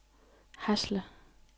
Hasle